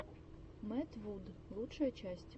мэтт вуд лучшая часть